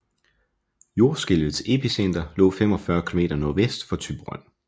Jordskælvets epicenter lå 45 km nordvest for Thyborøn